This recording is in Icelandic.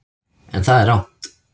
En það er rangt.